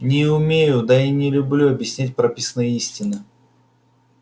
не умею да и не люблю объяснять прописные истины